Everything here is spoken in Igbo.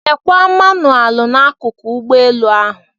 Lekwa manụaalụ n'akụkụ ụgbọelu ahụ.